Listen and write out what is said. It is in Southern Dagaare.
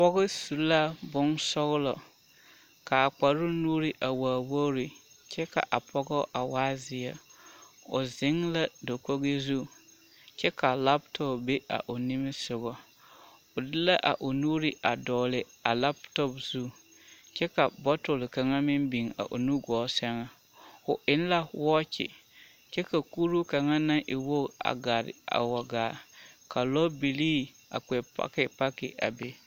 Pɔge su la bonsɔɔlɔ kaa kparoo nu waa wogi kyɛ ka a pɔgɔ a waa zeɛ o zeŋ la dakogi zu kyɛ ka laatɔb a be a o nimisoga o de la a I nuure a digele a laatub zu kyɛ ka bɔtole kaŋ meŋ biŋ a o nu gɔɔ seŋa o eŋ la wɔɔkyi kyɛ ka kuruu kaŋa naŋ e wogiba gare a waa gaa ka lɔ bibilii a kpɛ paki paki a be